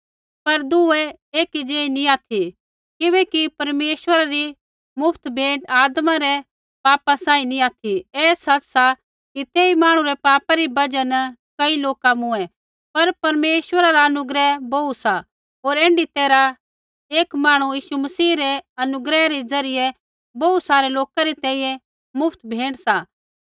पर दुऐ एक ज़ेही नैंई ऑथि किबैकि परमेश्वरा री मुफ्त भेंट आदमा रै पापा सांही नैंई ऑथि ऐ सच़ सा कि तेई मांहणु रै पापा री बजहा न कई लोका मूँऐं पर परमेश्वरा रा अनुग्रह बोहू सा होर ऐण्ढी तैरहा एक मांहणु यीशु मसीह रै अनुग्रह रै ज़रियै बोहू सारै लोका री तैंईंयैं मुफ्त भेंट सा